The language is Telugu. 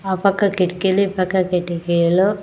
ఆ పక్క కిటికీలు ఈ పక్క కిటికీలు.